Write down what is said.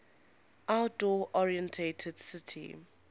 outdoor oriented city